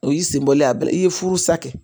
O y'i senbɔ a bɛɛ la i ye furu sa kɛ